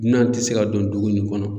Dunan ti se ka don dugu nin kɔnɔ.